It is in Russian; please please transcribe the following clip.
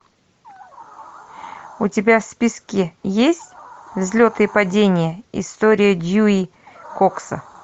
у тебя в списке есть взлеты и падения история дьюи кокса